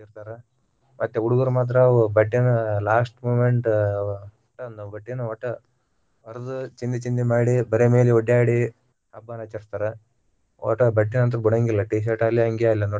ಇರ್ತಾರ ಅತ್ತ್ ಹುಡುಗುರ ಮಾತ್ರ ಅವು ಬಟ್ಟೆನ್ನ last moment ಅಹ್ ಬಟ್ಟೆನ ವಟ್ಟ ಹರದ ಚಿಂದಿ ಚಿಂದಿ ಮಾಡಿ ಬರೆ ಮೈಮೇಲೆ ಓಡ್ಯಾಡಿ ಹಬ್ಬನ ಆಚರಿಸ್ತಾರ ವಟ್ಟ ಬಟ್ಟೆನ ಅಂತೂ ಬಿಡಂಗಿಲ್ಲಾ T-shirt ಆಗ್ಲಿ ಅಂಗಿ ಆಗ್ಲಿ.